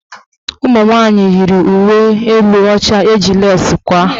Ụmụnwanyị yiri uwe elu ọcha eji lesi kwaa.